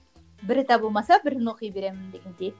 бірі табылмаса бірін оқи беремін дегендей